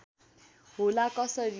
होला कसरी